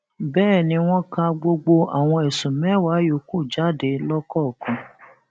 bẹẹ ni wọn ka gbogbo àwọn ẹsùn mẹwàá yòókù jáde lọkọọkan